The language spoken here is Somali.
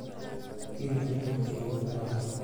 Imtixaankii wuu ku dhacay.